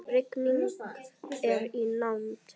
Rigning er í nánd.